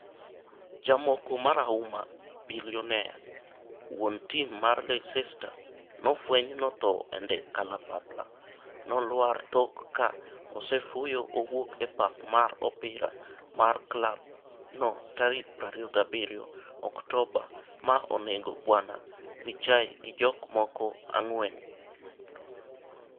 Jamoko marahuma, Bilionea, wuon tim mar Leicester nofweny nothoo e ndek kalapapla nolwar tok ka osefuyo owuok e pap mar opira mar klab no tarik 27 Oktoba ma onego Bw Vichai gi jok moko ang'wen.